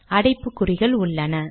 அடைப்புக்குறிகள் உள்ளன